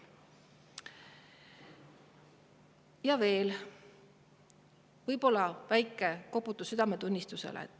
Ja veel võib-olla väike koputus südametunnistusele.